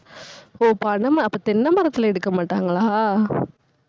ஓ, பனம், அப்ப தென்னை மரத்துல எடுக்க மாட்டாங்களா